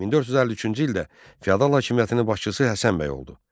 1453-cü ildə feodal hakimiyyətinin başçısı Həsənbəy oldu.